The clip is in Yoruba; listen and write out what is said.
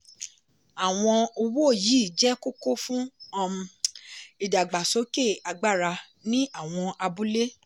àwọn owó yìí jẹ́ kókó fún um ìdàgbàsókè agbára ní àwọn abúlé.